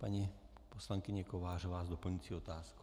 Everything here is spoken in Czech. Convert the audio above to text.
Paní poslankyně Kovářová s doplňující otázkou.